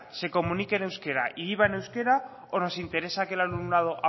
se comunique en euskera y viva en euskera o nos interesa que el alumnado